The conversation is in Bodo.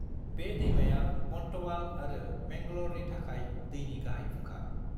बे दैमाया बन्तवाल आरो मैंगल'रनि थाखाय दैनि गाहाय फुंखा।